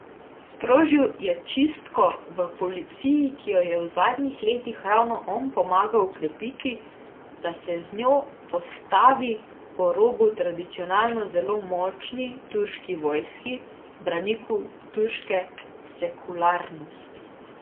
Sprožil je čistko v policiji, ki jo je v zadnjih letih ravno on pomagal okrepiti, da se z njo postavil po robu tradicionalno zelo močni turški vojski, braniku turške sekularnosti.